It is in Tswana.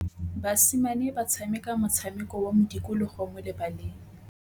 Basimane ba tshameka motshameko wa modikologô mo lebaleng.